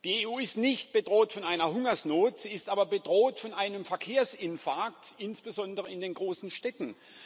Die EU ist nicht bedroht von einer Hungersnot, sie ist aber bedroht von einem Verkehrsinfarkt, insbesondere in den großen Städten.